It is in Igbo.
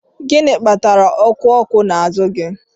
Gị kpatara oku oko n'azụ gị?